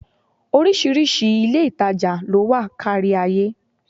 Oríṣiríṣi ilé-ìtàjà ló wà kárí ayé